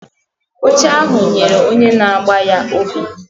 Oche ahụ nyere onye na-agba ya obi.